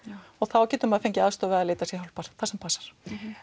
og þá getur maður fengið aðstoð við að leita sér hjálpar sem passar